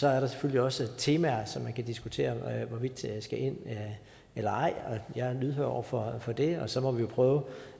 er der selvfølgelig også temaer som man kan diskutere hvorvidt skal ind eller ej jeg er lydhør over for for det og så må vi jo prøve